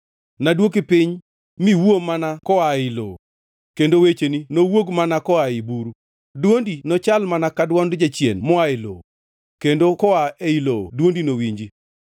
Nadwoki piny miwuo mana koa ei lowo; kendo wecheni nowuog mana koa ei buru. Dwondi nochal mana ka dwond jachien moa ei lowo; kendo koa ei lowo dwondi nowinji.